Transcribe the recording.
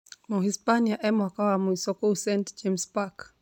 Mhispania emwaka wa mwiso kũo St James's Park.